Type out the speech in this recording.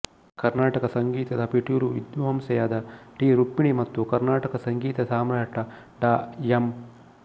ಕರ್ನಾಟಕ ಸಂಗೀತದ ಪಿಟೀಲು ವಿದ್ವಾಂಸೆಯಾದ ಟಿ ರುಕ್ಮಿಣಿ ಮತ್ತು ಕರ್ನಾಟಕ ಸಂಗೀತ ಸಾಮ್ರಾಟ ಡಾ ಎಂ